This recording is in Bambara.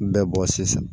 N bɛ bɔ sisan